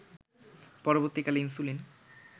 পরবর্তীকালে ইনসুলিন